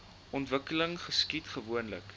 ontwikkeling geskied gewoonlik